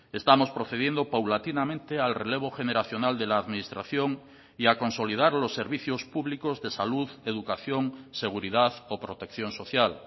estamos procediendo paulatinamente al relevo generacional de la administración y a consolidar los servicios públicos de salud educación seguridad o protección social